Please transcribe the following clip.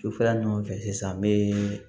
Sufɛla ɲuman fɛ sisan n bɛ